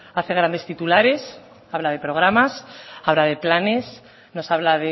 hace grandes titulares habla de programas habla de planes nos habla